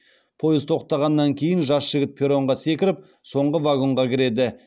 пойыз тоқтағаннан кейін жас жігіт перронға секіріп соңғы вагонға кіреді